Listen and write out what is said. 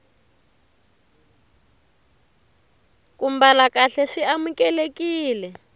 ku mbala kahle swi amukelekile